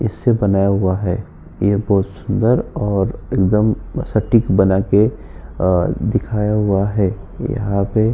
इससे बनाया हुआ है| यह बहोत सुंदर और एकदम सटीक बनाके अ दिखाया हुआ है| यहाँ पे --